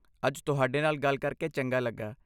ਅੱਜ ਤੁਹਾਡੇ ਨਾਲ ਗੱਲ ਕਰਕੇ ਚੰਗਾ ਲੱਗਾ।